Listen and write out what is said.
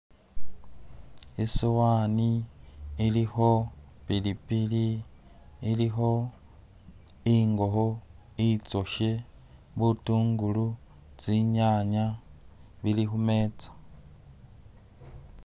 Isuwani ilikho pilipili ilikho ingokho inzoshe, butungulu, tsinyanya, bilikhumetsa.